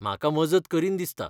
म्हाका मजत करीन दिसता